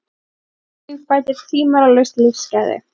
Heilbrigt kynlíf bætir tvímælalaust lífsgæði.